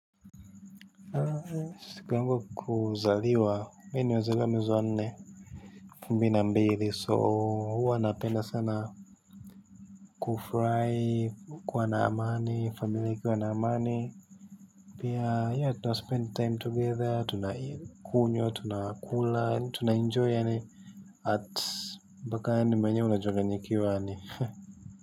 Siku yangu ya kuzaliwa, mimi nimezazaliwa mwezi wa nne, elfu mbili na mbili. Si huwa napenda sana kufurahi, kuwa naamani, familia ikiwa na amani. Pia ya tunaspend time together, tunakunywa, tunakula, tunaenjoy yaani mpka yaani mwenyewe unachanganyikiwa yaani.